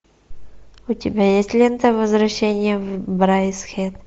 у тебя есть лента возвращение в брайдсхед